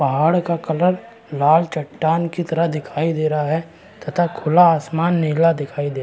पहाड़ का कलर लाल चटान की तरह दिखाई दे रहा है तथा खुला आसमान नीला दिखाई दे --